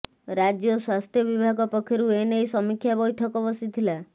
ରାଜ୍ୟ ସ୍ବାସ୍ଥ୍ୟ ବିଭାଗ ପକ୍ଷରୁ ଏନେଇ ସମୀକ୍ଷା ବୈଠକ ବସିଥିଲା